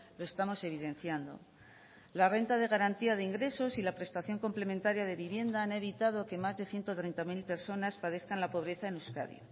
lo estamos evidenciando la renta de garantía de ingresos y la prestación complementaria de vivienda han evitado que más de ciento treinta mil personas padezcan la pobreza en euskadi